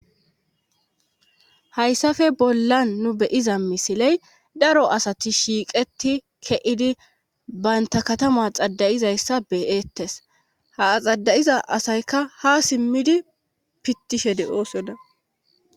hayssafe bollan nu beyiza misiley daro asati shiiqeti keidi baynta katama xadayizayssa beyettes ha xadayiza asaykka ha simmidi pittishe de oosoda